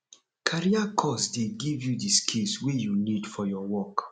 career course dey give you di skills wey you need for your work